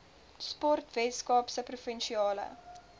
sport weskaapse provinsiale